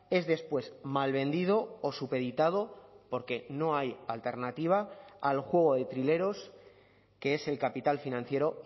es después mal vendido o supeditado porque no hay alternativa al juego de trileros que es el capital financiero